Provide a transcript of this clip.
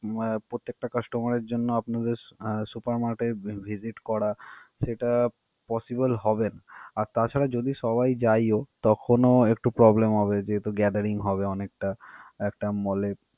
উম আহ প্রত্যেকটা customer এর জন্য আপনাদের আহ supermarket visit করা সেটা possible হবে না. আর তাছাড়া যদি সবাই যাইও তখনও একটু problem হবে যেহেতু gathering হবে অনেকটা একটা mall এ।